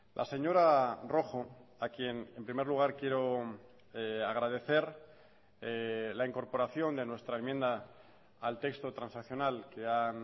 la señora rojo a quien en primer lugar quiero agradecer la incorporación de nuestra enmienda al texto transaccional que han